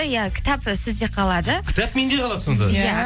иә кітап сізде қалады кітап менде қалады сонда иә